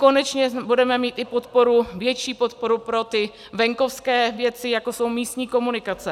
Konečně budeme mít i podporu, větší podporu, pro ty venkovské věci, jako jsou místní komunikace.